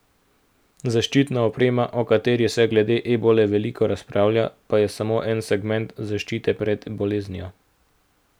Zaščitna oprema, o kateri se glede ebole veliko razpravlja, pa je samo en segment zaščite pred boleznijo.